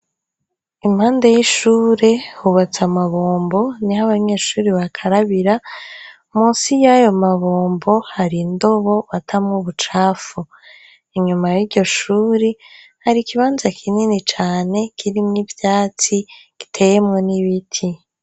Impande y'ishure hubatse amabombo; niho abanyeshuri bakarabira . Munsi y'ayo mabombo hari indobo batamwo ubucafu . Inyuma y'iryo shuri hari ikibanza kinini cane kirimwo ivyatsi, giteyemwo n'ibiti.